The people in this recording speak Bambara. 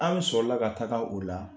An b sɔrɔla ka taga o la